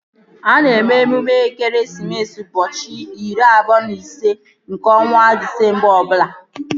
A na-eme emume ekeresimesi n'ụbọchị iri abụọ na ise nke ọnwa Disemba ọbụla